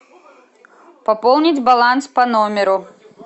пополнить баланс по номеру